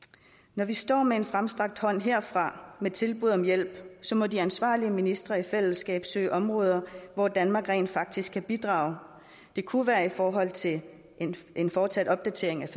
når vi står med en fremstrakt hånd herfra med tilbud om hjælp må de ansvarlige ministre i fællesskab søge områder hvor danmark rent faktisk kan bidrage det kunne være i forhold til en fortsat opdatering af